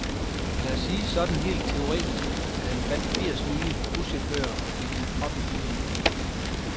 Lad os sige, sådan helt teoretisk, at han fandt firs nye buschauffører og fik dem op i busserne.